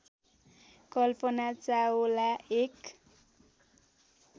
कल्पना चावला एक